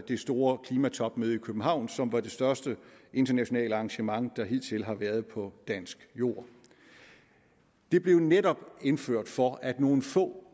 det store klimatopmøde i københavn som var det største internationale arrangement der hidtil har været på dansk jord det blev netop indført for at nogle få